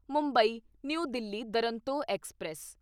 Mumbai New Delhi Duronto express